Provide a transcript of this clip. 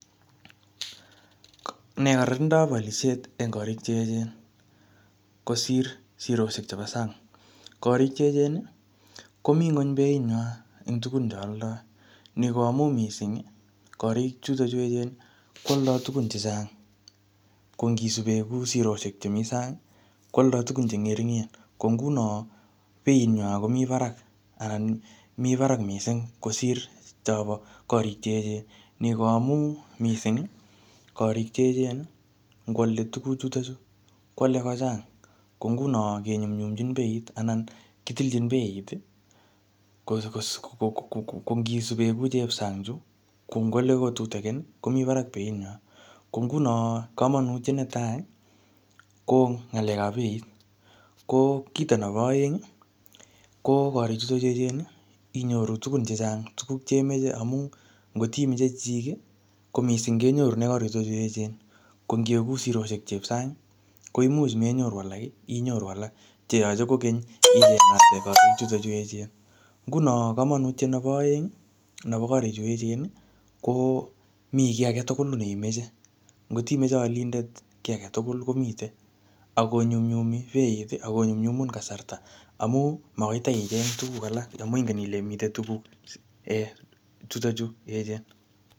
Ne kararandab olisheet en korik che echen kosir sirosiek chebo sang. Korik che eechen komi ngony beinyinywan eng tugun che aldoi. Nobo mui mising koaldo tugun che chang ko ngisuben ko sirosiek chemi sang kwaldoi tugun che ngeringen. Ko nguno bei nywan komi barak anan mi barak mising kosir chobo korik che eechen. Ni koamu mising korik che eechen ngwale tuguchuto chu kwale kochang. Ko nguno kinyumnyumchin beit anan kitilchin beit, ko ngisuben ku chueb sang chu ko ngwale kotutigin komi barak beinywan . Ko nguno kamamanutiet netai ko ngalekab beit. Ko kito nebo aeng ko korichuto eechen inyoru tugun chechang. Tuguk che moche amu ngotimoche chechik ko mising kenyorune korichuto chu eechen. Ko ingegur sirosiek chuep sang, ko imuch menyoru alak , inyoru alak che yoche kogeny chuto chu eechen. Nguno kamanutiet nebo aeng nebo korichuto chu eechen komikiagetugul neimeche. Ngotimoche alindet ki agetugul komiten ak konyumnyumi beit ak konyumnyumun kasarta amu magoi itaicheng tuguk alak amu ingen ile mite tuguk chuto chu eechen.